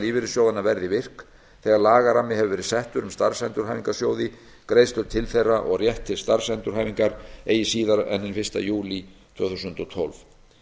lífeyrissjóðanna verði virk þegar lagarammi hefur verið settur um starfsendurhæfingarsjóði greiðslur til þeirra og rétt til starfsendurhæfingar eigi síðar en hinn fyrsta júlí tvö þúsund og tólf